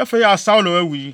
Afei a Saulo awu yi,